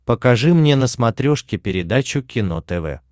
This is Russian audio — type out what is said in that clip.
покажи мне на смотрешке передачу кино тв